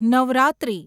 Navratri